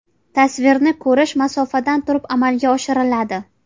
Tasvirni ko‘rish masofadan turib amalga oshiriladi.